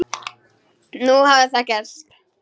Nú hafði það gerst.